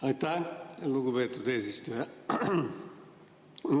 Aitäh, lugupeetud eesistuja!